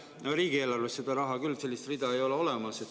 No riigieelarves seda raha küll, sellist rida ei ole olemas.